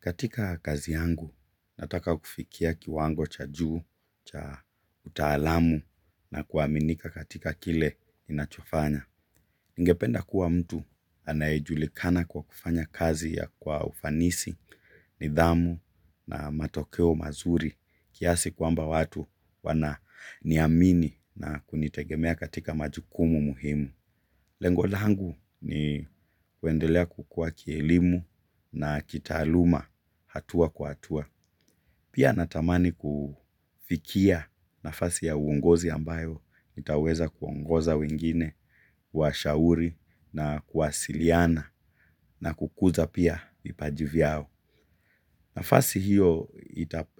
Katika kazi yangu, nataka kufikia kiwango cha juu, cha utaalamu na kuaminika katika kile ninachofanya. Ningependa kuwa mtu anayejulikana kwa kufanya kazi kwa ufanisi, nidhamu na matokeo mazuri, kiasi kwamba watu wananiamini na kunitegemea katika majukumu muhimu. Lengo langu ni kuendelea kukua kielimu na kitaaluma hatua kwa hatua. Pia natamani kufikia nafasi ya uongozi ambayo. Nitaweza kuongoza wengine, kuwashauri na kuwasiliana na kukuza pia vipaji vyao. Nafasi hiyo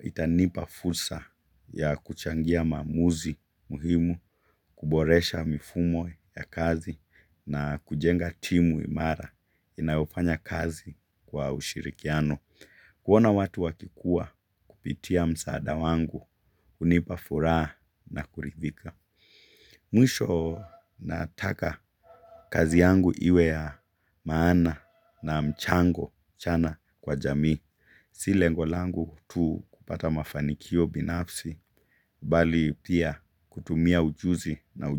itanipa fursa ya kuchangia maamuzi muhimu, kuboresha mifumo ya kazi na kujenga timu imara inayofanya kazi kwa ushirikiano. Kuona watu wakikua kupitia msaada wangu, hunipafura na kuridhika. Mwisho nataka kazi yangu iwe ya maana na mchango chana kwa jamii. Si lengo langu tu kupata mafanikio binafsi, bali pia kutumia ujuzi na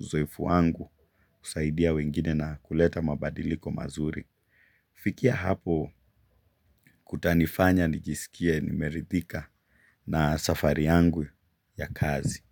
uzoefu wangu kusaidia wengine na kuleta mabadiliko mazuri. Kufikia hapo kutanifanya nijisikie nimeridhika na safari yangu ya kazi.